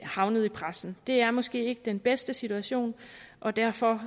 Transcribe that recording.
havnede i pressen det er måske ikke den bedste situation og derfor